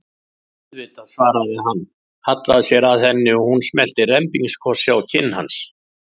Auðvitað, svaraði hann, hallaði sér að henni og hún smellti rembingskossi á kinn hans.